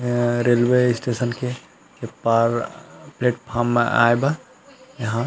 यहाँ railway station के उस पार प्लेट फॉर्म में आएगा यहाँ --